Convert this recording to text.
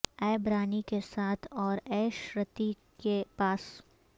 ایب رانی کے ساتھ اور ایش رتیک کے پاس